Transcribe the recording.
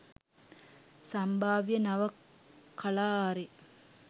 සම්භාව්‍ය නව කලා ආරේ